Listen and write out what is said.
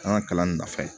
An ka kalan in nafa ye